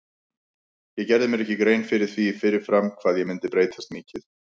Ég gerði mér ekki grein fyrir því fyrir fram hvað ég myndi breytast mikið.